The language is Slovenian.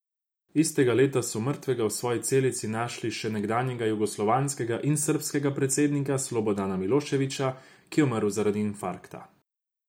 Istega leta so mrtvega v svoji celici našli še nekdanjega jugoslovanskega in srbskega predsednika Slobodana Miloševića, ki je umrl zaradi infarkta.